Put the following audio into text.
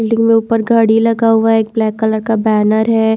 Building में ऊपर गाड़ी लगा हुआ है एक ब्लैक कलर का बैनर है।